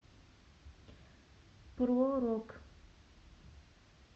про рок